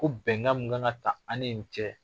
Ko bɛnkan mun kan ka ta ani nin cɛ